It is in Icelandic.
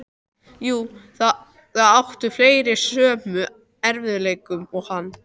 Jú, það áttu fleiri í sömu erfiðleikum og hann.